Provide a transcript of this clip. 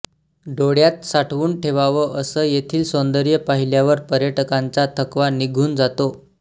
डोळ्यांत साठवून ठेवावं असं येथील सौंदर्य पाहिल्यावर पर्यटकांचा थकवा निघून जातो